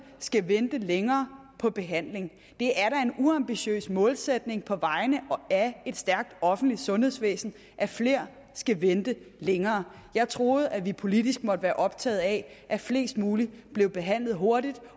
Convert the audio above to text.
skal vente længere på behandling det er da en uambitiøs målsætning på vegne af et stærkt offentligt sundhedsvæsen at flere skal vente længere jeg troede at vi politisk måtte være optaget af at flest mulige blev behandlet hurtigt